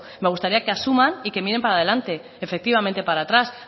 me gustaría que asuman y que miren para adelante efectivamente para atrás